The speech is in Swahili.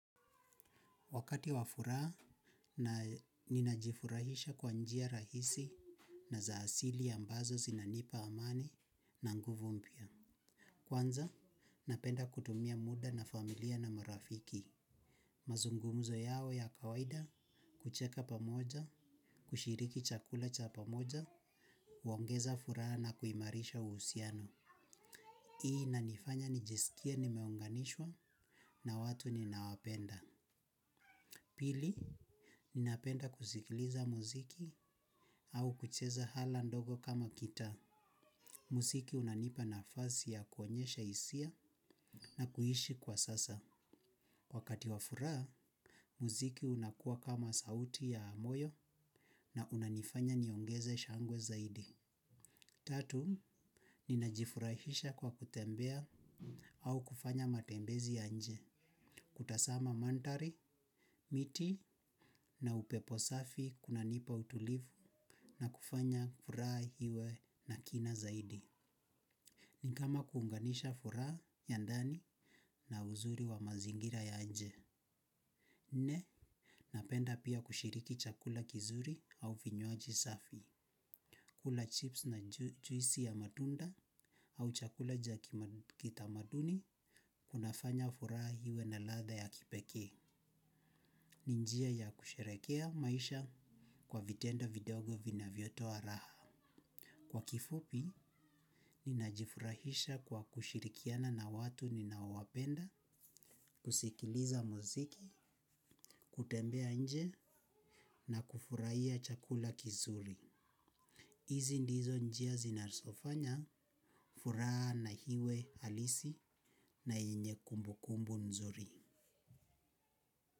Wakati wa furaha, ninajifurahisha kwa njia rahisi na za asili ambazo zinanipa amani na nguvu mpya. Kwanza, napenda kutumia muda na familia na marafiki. Mazungumzo yao ya kawaida, kucheka pamoja, kushiriki chakula cha pamoja, huongeza furaha na kuimarisha uhusiano. Hii inanifanya nijiskie nimeunganishwa na watu ninaowapenda. Mazungumzo yao ya kawaida, kucheka pamoja, kushiriki chakula cha pamoja, huongeza furaha na kuimarisha uhusiano. Muziki unanipa nafasi ya kuonyesha hisia na kuishi kwa sasa. Wakati wa furaha, muziki unakua kama sauti ya moyo na unanifanya niongeze shangwe zaidi. Tatu, ninajifurahisha kwa kutembea au kufanya matembezi ya nje. Kutazama mandhari, miti na upepo safi kunanipa utulivu na kufanya furaha iwe na kina zaidi. Ni kama kuunganisha furaha ya ndani na uzuri wa mazingira ya nje. Nne, napenda pia kushiriki chakula kizuri au vinywaji safi. Kula chips na juisi ya matunda au chakula cha kitamaduni kunafanya furaha iwe na ladha ya kipekee. Ni njia ya kusherehekea maisha kwa vitendo vidogo vinavyotoa raha. Kwa kifupi, ninajifurahisha kwa kushirikiana na watu ninaowapenda, kusikiliza muziki, kutembea nje na kufurahia chakula kizuri. Hizi ndizo njia zinazofanya furaha na iwe halisi na yenye kumbu kumbu nzuri.